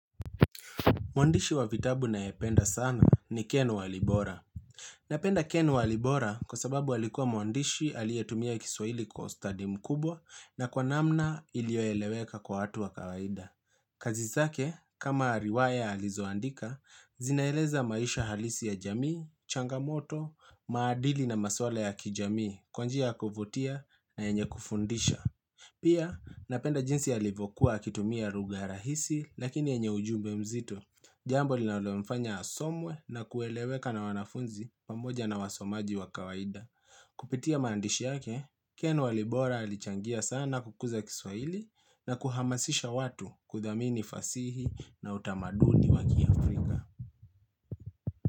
Mwandishi wa vitabu nayependa sana ni Ken Walibora. Napenda Ken Walibora kwa sababu alikuwa mwandishi alietumia kiswaili kwa ustadi mkubwa na kwa namna ilioeleweka kwa hatu wa kawaida. Kazizake, kama riwaya alizoandika, zinaeleza maisha halisi ya jamii, changamoto, maadili na maswala ya kijamii, kwa nji a kuvutia na yenye kufundisha. Pia napenda jinsi alivyokuwa kitumia lugha rahisi lakini yenye ujumbe mzito. Jambo linalo mfanya asomwe na kueleweka na wanafunzi pamoja na wasomaji wa kawaida. Kupitia maandishi yake, ken wa libora alichangia sana kukuza kiswaili na kuhamasisha watu kudhamini fasihi na utamaduni wakiafrika.